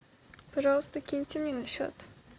пожалуйста киньте мне на счет